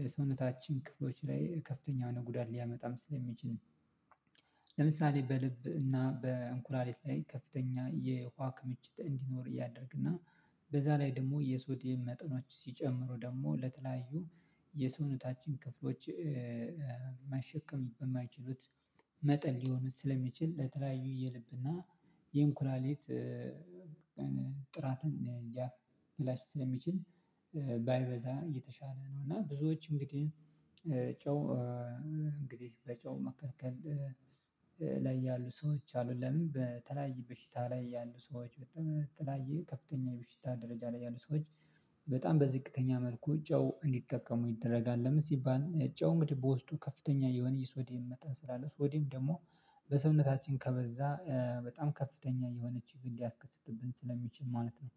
የሰውነታችን ክፍሎች ላይ ከፍተኛ ነው ጉዳይ ሊያመጣም ስለሚችል። ለምሳሌ በልብ እና በኩላሊት ላይ ከፍተኛ የውሃ ክምችት እንዲኖር ያደረግና። በዛ ላይ ደግሞ የሶዴየም መጠኖች ሲጨምሩ ደግሞ ለተለያዩ የሰውነታችን ክፍሎች። መሸከም በማይችሉት መጠን ሊሆን ስለሚችል ለተለያዩ የልብና የኩላሊት ጥራትን ሊያበላሽ ስለሚችል። ባይበዛ የተሻለ ነው። እና ብዙዎች እንግዲህ ጨው እንግዲህ በጨው መከልከል ላይ ያሉ ሰዎች አሉ። ለምን በተለያየ በሽታ ላይ ያሉ ሰዎች በተለያየ ከፍተኛ የበሽታ ደረጃ ላይ ያሉ ሰዎች በጣም በዝቅተኛ መልኩ ጨው እንዲጠቀሙ ይደረጋል። ለምሳሌ ሲባል ጨው እንግዲህ በውስጡ ከፍተኛ የሆነ የሶዲየም መጠን ስላለ ሶዴየም ደግሞ በሰውነታችን ከበዛ በጣም ከፍተኛ የሆነ ቺግር ሊያስከስትብን ስለሚችል ማለት ነው